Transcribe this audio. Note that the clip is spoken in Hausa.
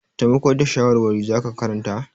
Taimako da shawarwari za ka karanta?